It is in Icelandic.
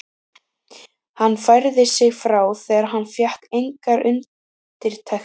Hann færði sig frá þegar hann fékk engar undirtektir.